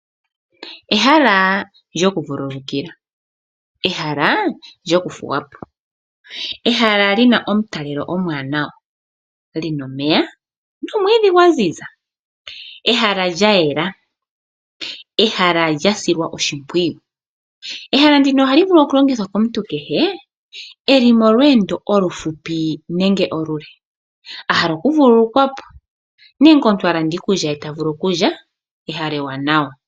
Ehala lyokuvululukila . Ehala lina omutalelo omuwanawa lina omeya nomwiidhi gwaziza. Ehala lya yela .Ehala lya silwa oshimpwiyu. Ehala ndino ohali vulu okulongithwa komuntu kehe eli molweendo olu hupi nenge olule ahala oku vululukwapo nenge omuntu alanda iikulya ye tavulu okulya. Ehala ewanawa.